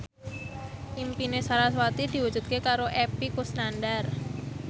impine sarasvati diwujudke karo Epy Kusnandar